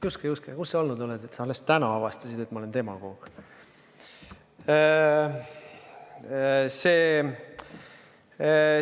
Juske-Juske, kus sa olnud oled, et sa alles täna avastasid, et ma olen demagoog?